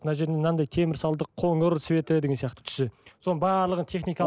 мына жеріне мынандай темір салдық қоңыр цветі деген сияқты түсі соның барлық техникалық